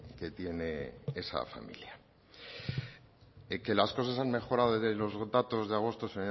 que tiene esa familia que las cosas han mejorado desde los datos de agosto señor